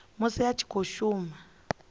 musi a tshi khou shuma